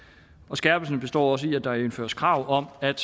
skærpelsen består også i at der indføres krav om at